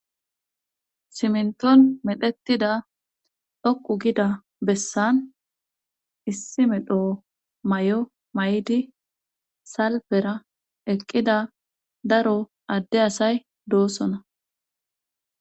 Simnton medhetida dhokqu gida bessan issi medho may7o may7di salfera eqqida daro adde asay doosona.